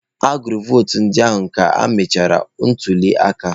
Agụchara votu ndị ahụ ka emechara ntuli aka.